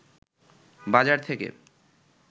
বাজার থেকে